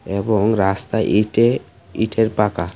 এবং রাস্তায় ইটে ইটের পাকা.